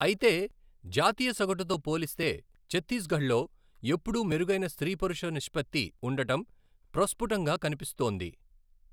అయితే జాతీయ సగటుతో పోలిస్తే ఛత్తీస్గఢ్లో ఎప్పుడూ మెరుగైన స్త్రీ పురుష నిష్పత్తి ఉండటం ప్రస్ఫుటంగా కనిపిస్తోంది.